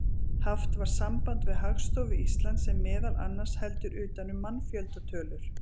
Haft var samband við Hagstofu Íslands sem meðal annars heldur utan um mannfjöldatölur.